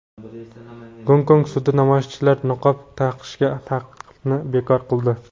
Gonkong sudi namoyishchilar niqob taqishiga taqiqni bekor qildi.